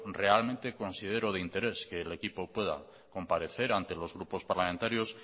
realmente considero de interés que el equipo pueda comparecer ante los grupos parlamentarios